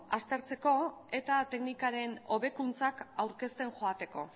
aztertzeko eta teknikaren hobekuntzak aurkezten joateko